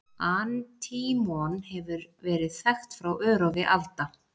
Antímon hefur verið þekkt frá örófi alda.